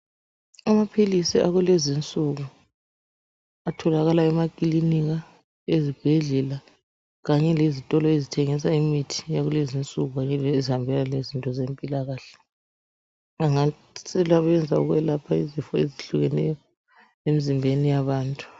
Amaphilisi akulezi insuku atholakala emakilinika, ezibhedlela kanye lezitolo ezithengisa imithi yakulezinsuku ezihambelana lezinto zempilakahle. Angasebenza ukwelapha izifo ezihlukeneyo emzimbeni yabantu.